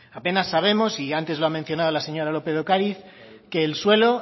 apenas sabemos y antes lo ha mencionado la señora lópez de ocariz que el suelo